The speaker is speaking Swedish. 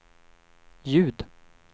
ljud